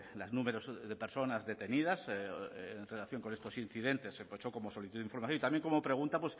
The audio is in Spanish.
las numerosas personas detenidas en relación con estos incidentes como solicitud de información y también como pregunta